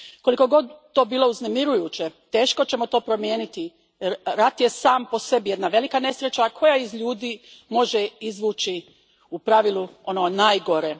Koliko god to bilo uznemirujuće, teško ćemo to promijeniti jer rat je sam po sebi jedna velika nesreća koja iz ljudi može izvući, u pravilu, ono najgore.